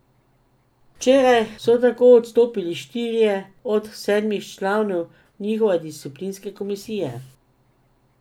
Včeraj so tako odstopili štirje od sedmih članov njihove disciplinske komisije.